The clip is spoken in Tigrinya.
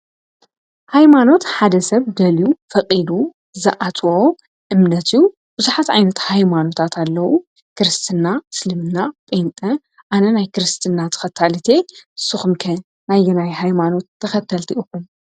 ኃይማኖት ሓደ ሰብ ደልዩ ፈቂዱ ዝኣት እምነትዩ ብዙኃት ኣይነት ኃይማኖታት ኣለዉ ክርስትና ስልምና ጴንጠ ኣነ ናይ ክርስትና ተኸታል እቲ ሱኹምከ ናይዮናይ ኃይማኖት ተኸተልቲ እኹም።